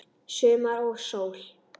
Sumar og sól.